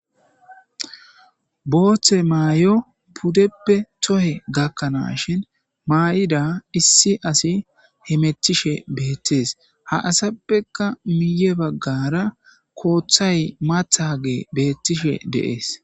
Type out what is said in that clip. booththe maayo puddeppe tohe gakkanaas shin maa7ida issi asi hemetishe beettees ha asappeka miye baggara kooththay maathagey beettishe de'ees